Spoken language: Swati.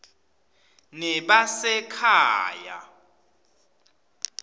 nebasekhaya